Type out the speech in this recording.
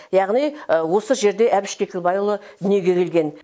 яғни осы жерде әбіш кекілбайұлы дүниеге келген